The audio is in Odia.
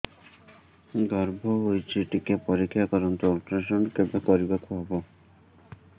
ଗର୍ଭ ହେଇଚି ଟିକେ ପରିକ୍ଷା କରନ୍ତୁ ଅଲଟ୍ରାସାଉଣ୍ଡ କେବେ କରିବାକୁ ହବ